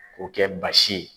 Ko kɛ basi ye.